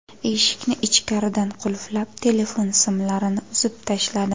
Eshikni ichkaridan qulflab, telefon simlarini uzib tashladi.